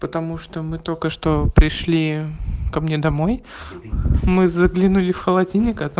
потому что мы только что пришли ко мне домой мы заглянули в холодильник а там